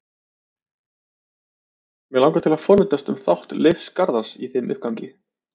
Mig langar að forvitnast um þátt Leifs Garðars í þeim uppgangi?